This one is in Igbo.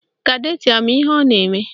Kadetị ama ihe ọ na-eme?